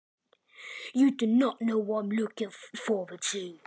Þú veist ekki hvað ég hlakka til.